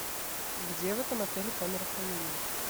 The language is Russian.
где в этом отеле камера хранения